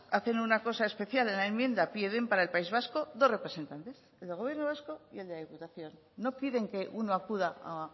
hacen una cosa especial en la enmienda piden para el país vasco dos representantes el del gobierno vasco y el de la diputación no piden que uno acuda a